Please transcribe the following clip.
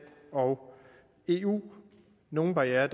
og eu nogle barrierer